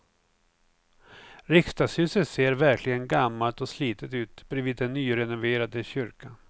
Riksdagshuset ser verkligen gammalt och slitet ut bredvid den nyrenoverade kyrkan.